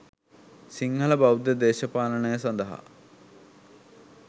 සිංහලබෞද්ධ දේශපාලනය සඳහා